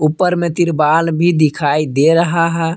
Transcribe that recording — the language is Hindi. ऊपर में तिरपाल भी दिखाई दे रहा है।